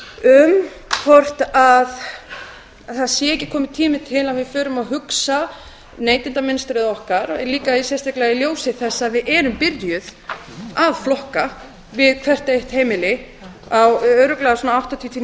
um hvort það sé ekki kominn tími til að við förum að hugsa neytendamunstrið okkar líka sérstaklega í ljósi þess að við erum byrjuð að flokka við hvert eitt heimili örugglega á svona áttatíu til